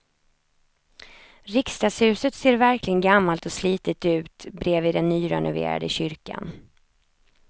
Riksdagshuset ser verkligen gammalt och slitet ut bredvid den nyrenoverade kyrkan.